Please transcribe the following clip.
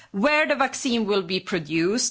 where the vaccine will be produced